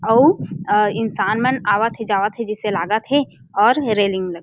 अउ अ इंसान मन आवत हे जावत हे जैसे लाग थे और रेलिंग ला --